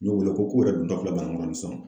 N y'o wele ko k'u yɛrɛ don tɔ filɛ Banankɔrɔni sisan.